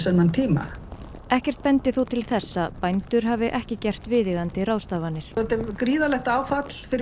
þennan tíma ekkert bendi þó til þess að bændur hafi ekki gert viðeigandi ráðstafanir þetta er gríðarlegt áfall fyrir